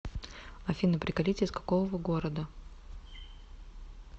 афина приколите из какого вы города